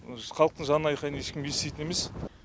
халықтың жанайқайын ешкім еститін емес